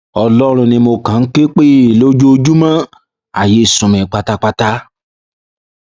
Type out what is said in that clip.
ọlọrun ni mo kàn ń ké pè lójoojúmọ ayé sú mi pátápátá